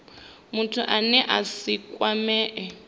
muthu ane a si kwamee